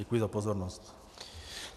Děkuji za pozornost.